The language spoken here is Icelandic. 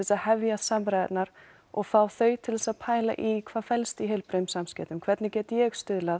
að hefja samræðurnar og fá þau til að pæla í hvað felst í heilbrigðum samskiptum hvernig get ég stuðlað